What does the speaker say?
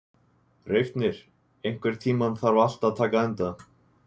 Reifnir, einhvern tímann þarf allt að taka enda.